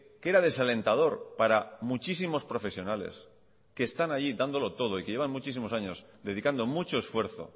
que era desalentador para muchísimos profesionales que están allí dándolo todo y que llevan muchísimos años dedicando mucho esfuerzo